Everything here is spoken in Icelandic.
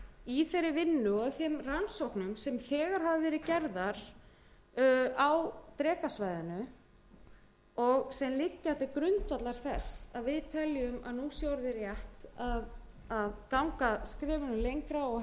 í þeirri vinnu og þeim rannsóknum sem þegar hafa verið gerðar á drekasvæðinu og sem liggja til grundvallar þess að við teljum að nú sé orðið rétt að ganga skrefinu lengra og